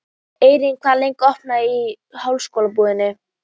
Eirný, hvað er lengi opið í Háskólabúðinni?